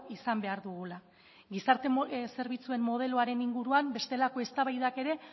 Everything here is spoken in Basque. izan behar dugula gizarte zerbitzuen modeloaren inguruan bestelako eztabaidak ere